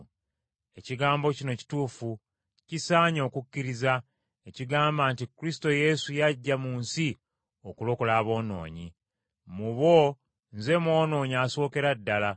Ekigambo kino kituufu, kisaanye okukkiriza, ekigamba nti Kristo Yesu yajja mu nsi okulokola aboonoonyi. Mu bo nze mwonoonyi asookera ddala.